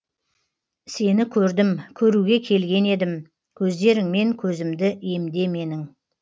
сені көрдім көруге келген едім көздеріңмен көзімді емде менің